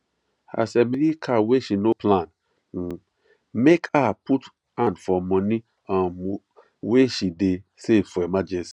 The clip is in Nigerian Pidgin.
as emily car wey she no plan m make her put hand for money um wey she dey save for emergency